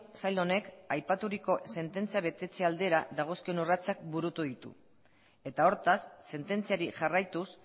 sail honek aipaturiko sententzia betetzen aldera dagozkion urratsak burutu ditu eta hortaz sententziari jarraituz